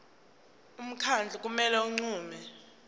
umkhandlu kumele unqume